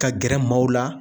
Ka gɛrɛ maaw la